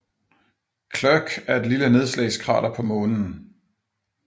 Clerke er et lille nedslagskrater på Månen